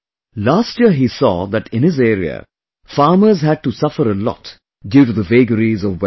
Last year he saw that in his area farmers had to suffer a lot due to the vagaries of weather